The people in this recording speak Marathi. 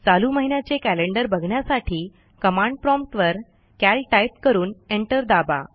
चालू महिन्याचे कॅलेंडर बघण्यासाठी कमांड प्रॉम्प्ट वर कॅल टाईप करून एंटर दाबा